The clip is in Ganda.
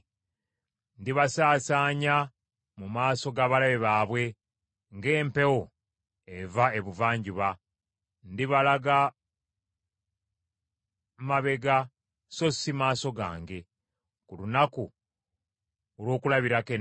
Ndibasaasaanya mu maaso g’abalabe baabwe ng’empewo eva ebuvanjuba; ndibalaga mabega so si maaso gange ku lunaku olw’okulabirako ennaku.”